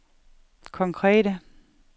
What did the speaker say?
konkrete